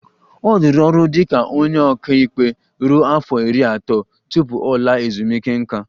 Ọ rụrụ ọrụ dị ka onye ọka ikpe ruo afọ iri atọ tupu ọ laa ezumike nká